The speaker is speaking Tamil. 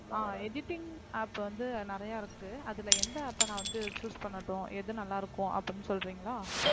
ஆஹ் editing app வந்து நிறைய இருக்கு அதுல எந்த app அ நான் வந்து choose பண்ணட்டும் எது நல்லா இருக்கும் அப்படீன்னு சொல்றீங்களா